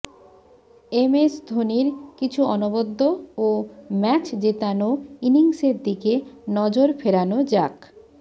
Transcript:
MS ধোনির কিছু অনবদ্য ও ম্যাচ জেতানো ইনিংসের দিকে নজর ফেরানো যাক